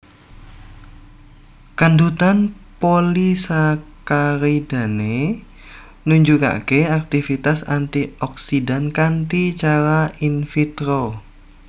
Kandhutan polisakaridane nunjukake aktivitas antioksidan kanthi cara in vitro